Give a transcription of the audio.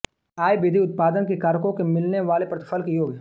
आय विधि उत्पादन के कारकों के मिलने वाले प्रतिफल का योग